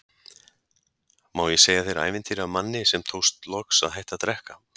Má ég segja þér ævintýri af manni sem tókst loks að hætta að drekka?